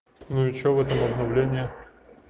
ну и что в этом обновлении